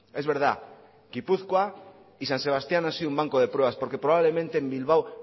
es verdad gipuzkoa y san sebastián han sido un banco de pruebas porque probablemente en bilbao